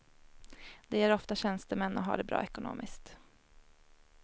De är ofta tjänstemän och har det bra ekonomiskt.